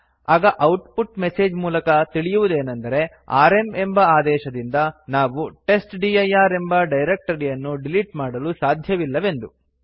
ಆಗ output message ಮೂಲಕ ತಿಳಿಯುವುದೇನೆಂದರೆ ಆರ್ಎಂ ಎಂಬ ಆದೇಶದಿಂದ ನಾವು ಟೆಸ್ಟ್ಡಿರ್ ಎಂಬ ಡೈರಕ್ಟರಿಯನ್ನು ಡಿಲಿಟ್ ಮಾಡಲು ಸಾಧ್ಯವಿಲ್ಲವೆಂದು